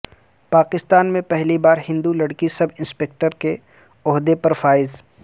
پاکستان میں پہلی بار ہندو لڑکی سب انسپکٹر کے عہدہ پر فائز